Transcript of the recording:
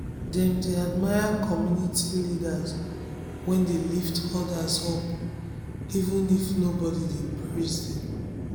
dem dey admire community leaders wey dey lift others um up even if nobody dey praise dem.